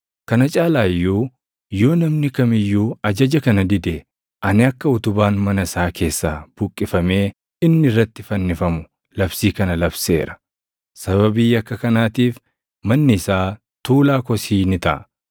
Kana caalaa iyyuu yoo namni kam iyyuu ajaja kana dide, ani akka utubaan mana isaa keessaa buqqifamee inni irratti fannifamu labsii kana labseera. Sababii yakka kanaatiif manni isaa tuulaa kosii ni taʼa.